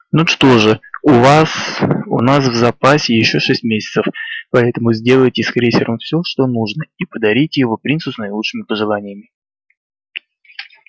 ну что же у вас у нас в запасе ещё шесть месяцев поэтому сделайте с крейсером все что нужно и подарите его принцу с наилучшими пожеланиями